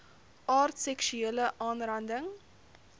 aard seksuele aanranding